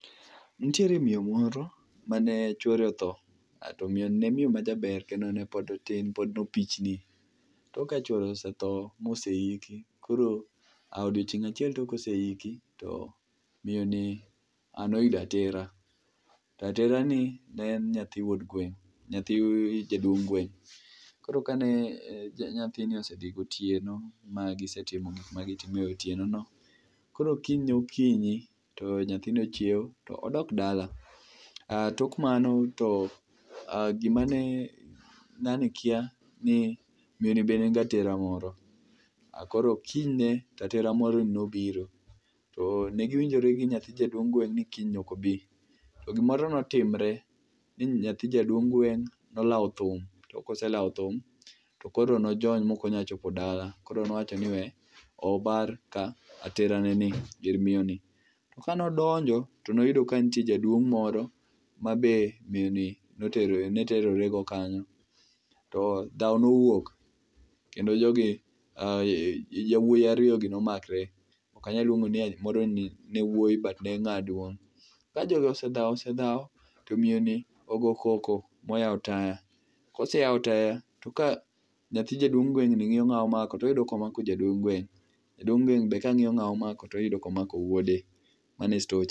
Nitiere miyo moro mane chwore otho, to miyoni ne miyo majaber kendo ne pod otin, pod no pichni, tok ka chwore osetho moseiki, koro odiochieng' achiel tok koseiki, to miyoni noyudo atera, to aterani ne en nyathi wuod gweng',nyathi jaduong' gweng'. Koro kane nyathini osedhi gotieno, magise timo gik magitimo e otienono. Koro kiny okinyi, to nyathino ochiew to odok dala. Tok mano to gima ne ng'ani kia ni miyoni be ne nigi atera moro. Koro kinyne, to atera moroni nobiro. To ne giwinjore gi nyathi jaduong' gweng' ni kiny ok obi. To gimoro notimre, bi nyathi jaduong' gweng' nolawo thum, to koselawo thum to koro nojony mokonyal chopo dala, koro nowacho ni we obar ka ateraneni, ir miyo ni. Kanodonjo, to noyudo ka nitie jaduong' moro mabe miyo ni ne terorego kanyo. To dhawo nowuok, kendo jogi yawuoyi ariyogi nomakre, ok anyal luongo ni moroni ne wuoyi but ne ng'aduong'. Ka jogi osedhawo osedhawo, to miyoni ogo koko moyawo taya. Koseyawo taya, to ka nyathi jaduong' gweng'ni ng'iyo ng'a omako, toyudo ka omako jaduong' gweng',jaduong' gweng' be ka ng'iyo ng'a omako, toyudo ka omako wuode. Mano e stocha.